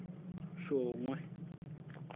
shongwe